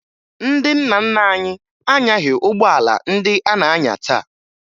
Ndị nna nna anyị anyaghị ụgbọala ndị a na-anya taa